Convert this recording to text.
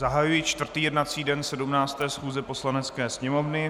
Zahajuji čtvrtý jednací den 17. schůze Poslanecké sněmovny.